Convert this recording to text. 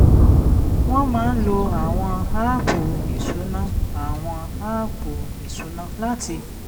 wọ́n máa ń lo àwọn áàpù ìṣúná àwọn áàpù ìṣúná láti